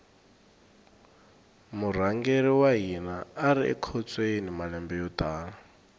murhangeri wa hina ari ekhotsweni malembe yo tala